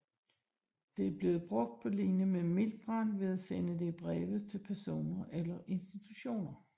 Det er blevet brugt på linje med miltbrand ved at sende det i breve til personer eller instutioner